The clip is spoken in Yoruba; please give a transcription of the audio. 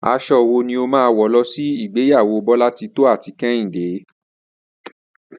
Aso̩ wo ni o máa wò̩ lo̩ sí ìgbéyàwó Bólátitó àti Kehíndé?